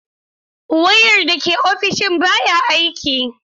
Wayar da ke ofishina baya aiki.